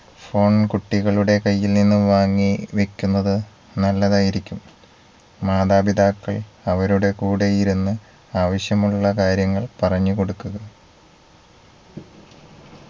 phone കുട്ടികളുടെ കയ്യിൽ നിന്നും വാങ്ങി വയ്ക്കുന്നത് നല്ലതായിരിക്കും മാതാപിതാക്കൾ അവരുടെ കൂടെയിരുന്ന് ആവശ്യമുള്ള കാര്യങ്ങൾ പറഞ്ഞു കൊടുക്കുക